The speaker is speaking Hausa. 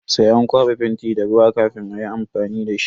Sai an kwaba fenti da ruwa kafin ayi amfani dashi.